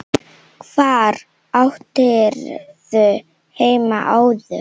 Hvar áttirðu heima áður?